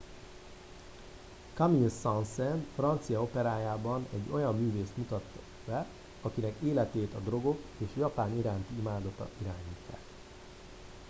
"camille saint-saens francia operájában egy olyan művészt mutat be "akinek életét a drogok és japán iránti imádata irányítják"".